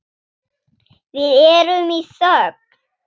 Við erum í þögn.